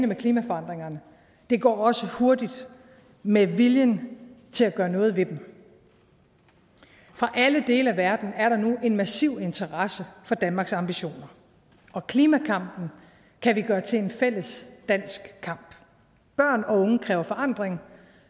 med klimaforandringerne det går også hurtigt med viljen til at gøre noget ved dem fra alle dele af verden er der nu en massiv interesse for danmarks ambitioner og klimakampen kan vi gøre til en fælles dansk kamp børn og unge kræver forandring